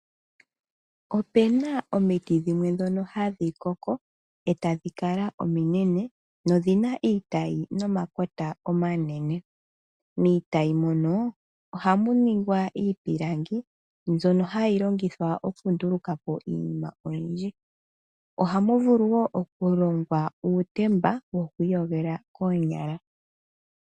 Opena omiti dhimwe ndono ha dhi koko, eta dhi kala ominene, odhi na iitayi nomakota omanene. Miitayi mono, oha mu ningwa iipiĺangi, mbyono ha yi longithwa okunduluka po iinima oyindji. Oha mu vulu woo okulongwa uutemba wokwii yogela koonyala.